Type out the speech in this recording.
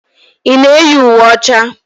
Ị na-eyi uwe ọcha?